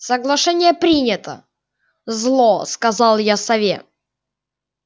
соглашение принято зло сказал я сове